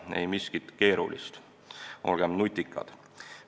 Ei miskit keerulist, olgem nutikad!